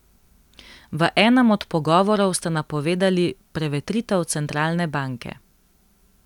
V enem od pogovorov ste napovedali prevetritev centralne banke.